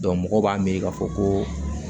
mɔgɔw b'a miiri k'a fɔ ko